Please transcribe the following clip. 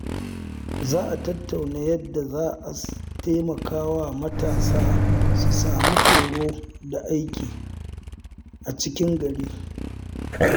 Za a tattauna yadda za a taimaka wa matasa su samu horo da aiki a cikin gari.